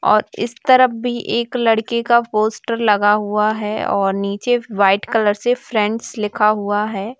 और इस तरफ भी एक लड़के का पोस्टर लगा हुआ हैं और नीचे वाइट कलर से फ्रेंड्स लिखा हुआ हैं।